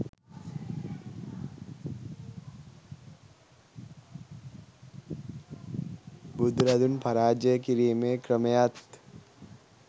බුදුරදුන් පරාජය කිරීමේ ක්‍රමයත්